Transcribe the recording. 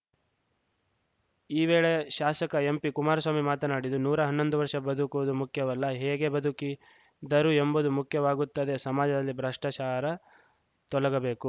ಈ ವೇಳೆ ಶಾಸಕ ಎಂಪಿಕುಮಾರಸ್ವಾಮಿ ಮಾತನಾಡಿದು ನೂರಾ ಹನ್ನೊಂದು ವರ್ಷ ಬದುಕುವುದು ಮುಖ್ಯವಲ್ಲ ಹೇಗೆ ಬದುಕಿದ್ದರು ಎಂಬುದು ಮುಖ್ಯವಾಗುತ್ತದೆ ಸಮಾಜದಲ್ಲಿ ಭ್ರಷ್ಟಾಚಾರ ತೊಲಗಬೇಕು